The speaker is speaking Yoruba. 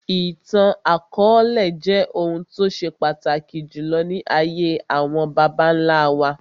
Ìtàn akọọlẹ jẹ́ ohun tó ṣe pàtàkì jùlọ ní ayé àwọn bàbá nlá wa